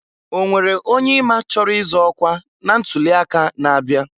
Onwere onye i ma chọrọ ịzọ ọkwa na ntuli aka na-abịa?